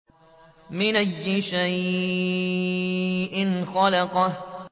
مِنْ أَيِّ شَيْءٍ خَلَقَهُ